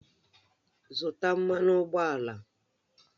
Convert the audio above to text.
Zụtà mmanụ ụgbọala!